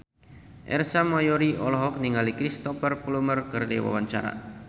Ersa Mayori olohok ningali Cristhoper Plumer keur diwawancara